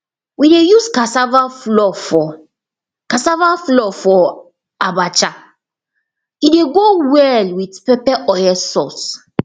we dey use cassava flour for cassava flour for abacha e dey go well with pepper oil sauce